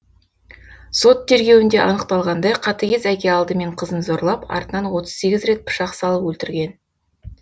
сот тергеуінде анықталғандай қатыгез әке алдымен қызын зорлап артынан отыз сегіз рет пышақ салып өлтірген